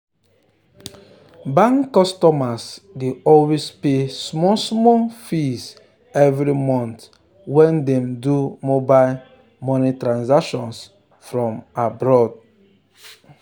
the ten ant wahala over how property over how property damage make landlord check the lease paper well well.